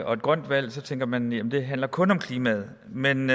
og et grønt valg tænker man jamen det handler kun om klimaet men